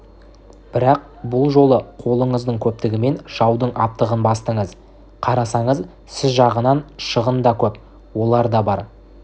бірақ бұл жолы қолыңыздың көптігімен жаудың аптығын бастыңыз қарасаңыз сіз жағынан шығын да көп оларда бар